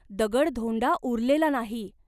दगडधोंडा उरलेला नाही.